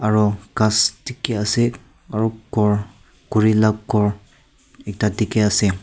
aru ghass dikhi ase aru ghor khuri lah ghor ekta dikhi ase.